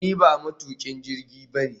Ni ba matukin jirgi ba ne